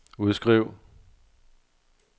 udskriv